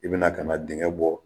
I bɛna ka na dengɛ bɔ